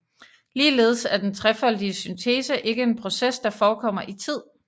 Ligeledes er den trefoldige syntese ikke en proces der forekommer i tid